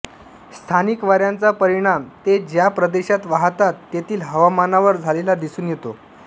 स्थानिक वाऱ्याचा परिणाम ते ज्या प्रदेशात वाहतात तेथील हवामानावर झालेला दिसून येतो